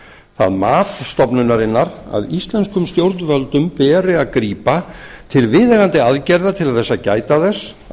það mat stofnunarinnar að íslenskum stjórnvöldum beri að grípa til viðeigandi aðgerða til að gæta þess að